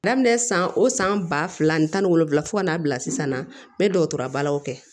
Daminɛ san o san ba fila ani tan ni wolonwula fo ka n'a bila sisan n bɛ dɔgɔtɔrɔya balo kɛ